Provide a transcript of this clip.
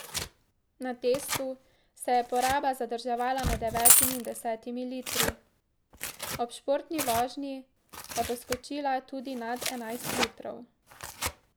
Na testu se je poraba zadrževala med devetimi in desetimi litri, ob športni vožnji pa poskočila tudi nad enajst litrov.